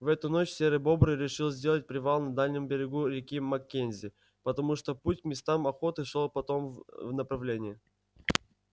в эту ночь серый бобр решил сделать привал на дальнем берегу реки маккензи потому что путь к местам охоты шёл потом в направлении